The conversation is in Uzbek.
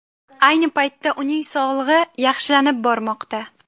Ayni paytda uning sog‘lig‘i yaxshilanib bormoqda.